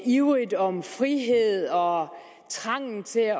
ivrigt om frihed og trangen til at